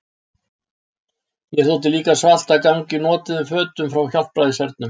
Mér þótti líka svalt að ganga í notuðum fötum frá Hjálpræðishernum.